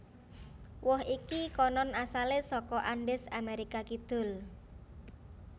Woh iki konon asalé saka Andes Amérika Kidul